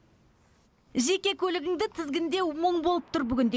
жеке көлігіңді тізгіндеу мұң болып тұр бүгінде